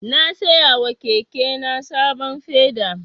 Na siya wa keke na sabon feda.